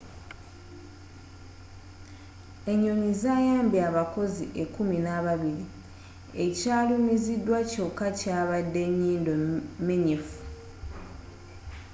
enyonyi zayambye abakozi ekkuminababiri ekyalumizidwa kyokka yabadde nyindo menyefu